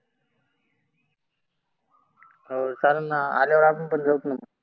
हो चालेल ना आल्यावर आपण पण जाऊत ना.